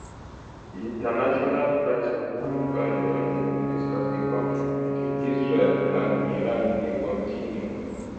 di international price of crude oil don increase as di conflict between israel and iran dey continue